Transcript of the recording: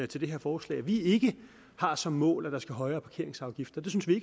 til det her forslag at vi ikke har som mål at der skal være højere parkeringsafgifter det synes vi